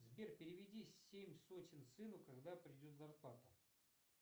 сбер переведи семь сотен сыну когда придет зарплата